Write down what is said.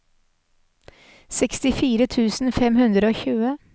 sekstifire tusen fem hundre og tjue